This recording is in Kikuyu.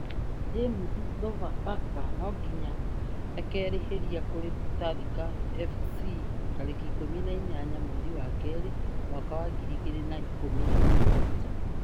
James: Sofapaka no nginya ĩkerĩhĩria kũrĩ Tusker FC tarĩki ikũmi na inyanya mweri wa kerĩ mwaka wa ngiri igĩrĩ na ikũmi na mũgwanja.